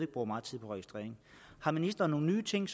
bruger meget tid på registrering har ministeren nogle nye ting